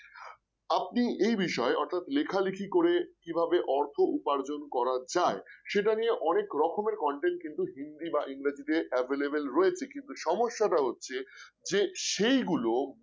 আপনি এই বিষয়ে অর্থাৎ লেখালেখি করে কিভাবে অর্থ উপার্জন করা যায় সেটা নিয়ে কিন্তু অনেক রকমের content কিন্তু হিন্দি বা ইংরেজিতে available রয়েছে কিন্তু সমস্যাটা হচ্ছে যে সেইগুলো